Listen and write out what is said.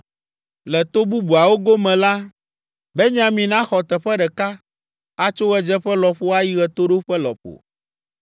“Le to bubuawo gome la: “Benyamin axɔ teƒe ɖeka; atso ɣedzeƒe lɔƒo ayi ɣetoɖoƒe lɔƒo.